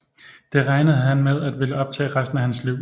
Det regnede han med at ville optage resten af hans liv